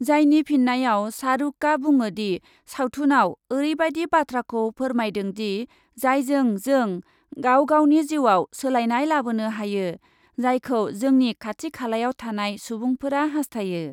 जायनि फिन्नायाव शाहरुकआ बुङोदि सावथुनआव ओरैबायदि बाथ्राखौ फोरमायदोंदि, जायजों जों गाव गावनि जिउआव सोलायनाय लाबोनो हायो, जायखौ जोंनि खाथि खालायाव थानाय सुबुंफोरा हास्थायो।